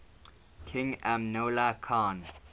king amanullah khan